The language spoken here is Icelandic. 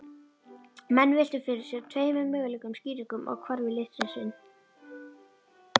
Menn veltu fyrir sér tveimur mögulegum skýringum á hvarfi litnisins.